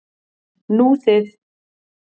Nú þið.